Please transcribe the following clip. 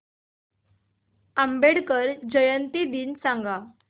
आंबेडकर जयंती दिन सांग